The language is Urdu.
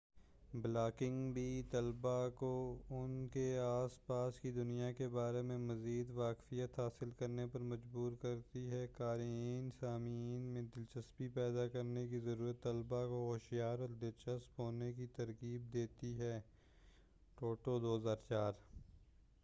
بلاگنگ بھی طلبہ کو ان کے آس پاس کی دنیا کے بارے میں مزید واقفیت حاصل کرنے پر مجبور کرتی ہے۔"قارئین سامعین میں دلچسپی پیدا کرنے کی ضرورت طلبا کو ہوشیار اور دلچسپ ہونے کی ترغیب دیتی ہےٹوٹو، 2004۔